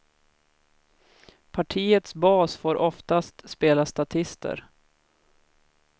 Partiets bas får oftast spela statister.